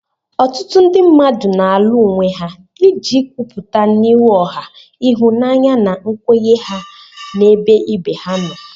Ọtụtụ ndị mmadụ na-alu onwe ha iji kwupụta n'ihu ọha ịhụnanya na nkwenye ha n'ebe ibe ha nọ.